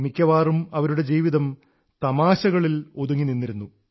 മിക്കവാറും അവരുടെ ജീവിതം തമാശകളിൽ നിറഞ്ഞു നിന്നിരുന്നു